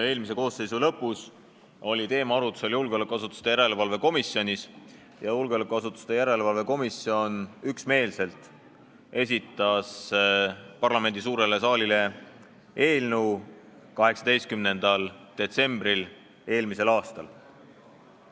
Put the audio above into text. Eelmise koosseisu lõpus oli see teema arutlusel julgeolekuasutuste järelevalve erikomisjonis ja komisjon esitas 18. detsembril eelmisel aastal selle seaduseelnõu üksmeelselt parlamendi suurele saalile.